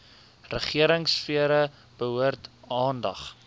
regeringsfere behoort aandag